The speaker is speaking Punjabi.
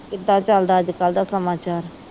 ਕਿਦਾ ਚਲਦਾ ਅਜਕਲ ਦਾ ਸਮਾਚਾਰ